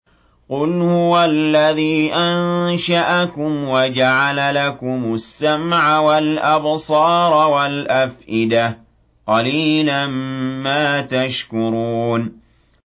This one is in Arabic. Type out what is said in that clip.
قُلْ هُوَ الَّذِي أَنشَأَكُمْ وَجَعَلَ لَكُمُ السَّمْعَ وَالْأَبْصَارَ وَالْأَفْئِدَةَ ۖ قَلِيلًا مَّا تَشْكُرُونَ